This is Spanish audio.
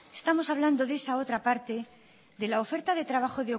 estamos hablando de esa otra parte de la oferta de trabajo